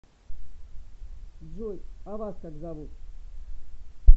джой а вас как зовут